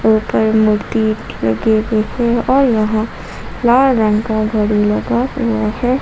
ऊपर मूर्ति लगी हुई है और यहां फ्लावर रंग का घड़ी लगा हुआ है।